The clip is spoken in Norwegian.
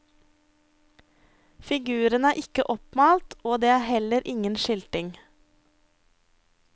Figurene er ikke oppmalt og det er heller ingen skilting.